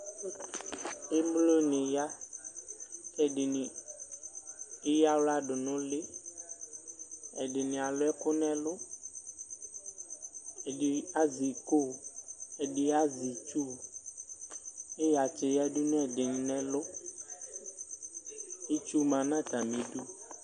Emloni ya ɛdini eyaɣla du nu uli ɛdini alu ɛku nu ɛlu ɛdini azɛ iko ɛdi azɛ itsu iɣatsɛ yadu nu ɛdini nu ɛlu itsu ma nu atamidu